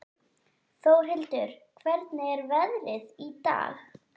Þórhildur, hvernig er veðrið í dag?